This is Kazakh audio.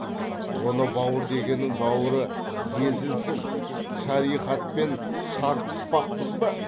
оны бауыр дегеннің бауыры езілсін шариғатпен шарпыспақпыз ба